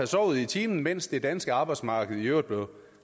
sovet i timen mens det danske arbejdsmarked i øvrigt blev